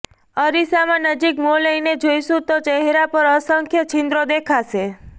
અરીસા નજીક મોં લઈને જોઈશું તો ચહેરા પર અસંખ્ય છિદ્રો દેખાશે